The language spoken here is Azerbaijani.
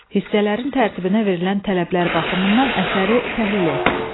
Hissələrin tərtibinə verilən tələblər baxımından əsəri təhlil et.